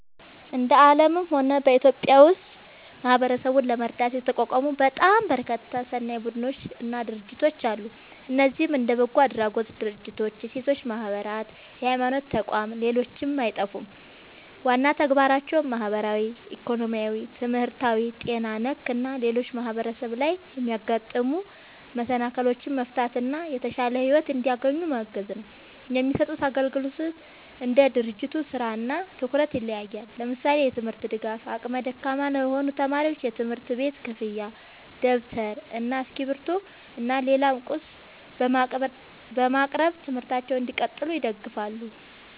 እንደ አለምም ሆነ በኢትዮጵያ ውስጥ ማህበረሰብን ለመርዳት የተቋቋሙ በጣም በርካታ ሰናይ ቡድኖች እና ድርጅቶች አለ። እነዚህም እንደ በጎ አድራጎት ድርጅቶች፣ የሴቶች ማህበራት፣ የሀይማኖት ተቋም ሌሎችም አይጠፉም። ዋና ተግባራቸውም ማህበራዊ፣ ኢኮኖሚያዊ፣ ትምህርታዊ፣ ጤና ነክ እና ሌሎችም ማህበረሰብ ላይ የሚያጋጥሙ መሰናክሎችን መፍታት እና የተሻለ ሒወት እንዲያገኙ ማገዝ ነው። የሚሰጡት አግልግሎት እንደ ድርጅቱ ስራ እና ትኩረት ይለያያል። ለምሳሌ፦ የትምርት ድጋፍ አቅመ ደካማ ለሆኑ ተማሪዎች የትምህርት ቤት ክፍያ ደብተር እና እስክሪብቶ እና ሌላም ቁስ በማቅረብ ትምህርታቸውን እንዲቀጥሉ ይደግፋሉ